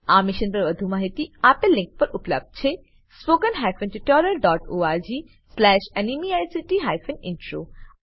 આ મિશન પર વધુ માહિતી spoken hyphen tutorial dot org slash NMEICT hyphen intro આ લીંક પર ઉપલબ્ધ છે